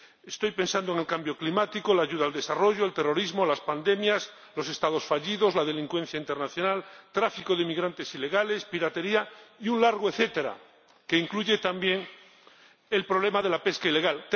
Estoy pensando en el cambio climático, la ayuda al desarrollo, el terrorismo, las pandemias, los Estados fallidos, la delincuencia internacional, el tráfico de inmigrantes ilegales, la piratería y un largo etcétera, que incluye también el problema de la pesca ilegal.